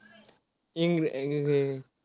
Eng eng